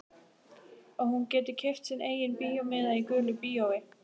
Og hún getur keypt sinn eigin bíómiða í gulu bíói.